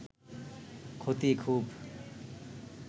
ক্ষতি খুব